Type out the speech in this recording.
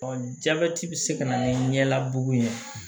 jabɛti bɛ se ka na ni ɲɛlabu ye